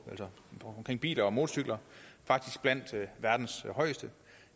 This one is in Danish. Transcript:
biler og motorcykler faktisk blandt verdens højeste